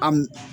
A m